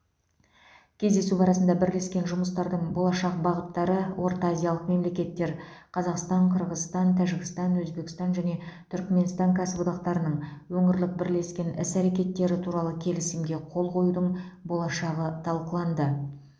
кездесу барысында бірлескен жұмыстардың болашақ бағыттары ортаазиялық мемлекеттер қазақстан қырғызстан тәжікстан өзбекстан және түркіменстан кәсіподақтарының өңірлік бірлескен іс әрекеттері туралы келісімге қол қоюдың болашағы талқыланды